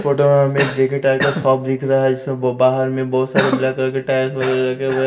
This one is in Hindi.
फोटो में हमें एक जे_के टायर का शॉप दिख रहा है जिसमें ब बाहर में बहुत सारे ब्लैक कलर के टायर्स वगैरह रखें हुए--